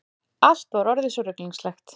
Allt var orðið svo ruglingslegt.